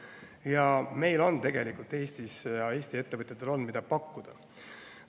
Ja Eesti ettevõtjatel on, mida pakkuda.